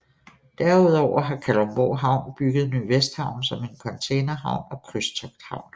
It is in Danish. Derudover har Kalundborg Havn bygget Ny Vesthavn som er en containerhavn og krydstogthavn